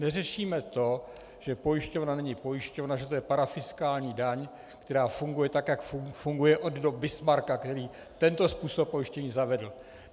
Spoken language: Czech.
Neřešíme to, že pojišťovna není pojišťovna, že to je parafiskální daň, která funguje, tak jak funguje od dob Bismarcka, který tento způsob pojištění zavedl.